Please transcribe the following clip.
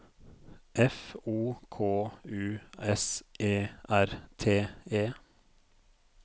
F O K U S E R T E